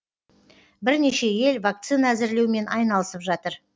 бірнеше ел вакцина әзірлеумен айналысып жатыр